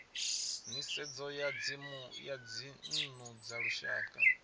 nisedzo ya dzinnu dza lushaka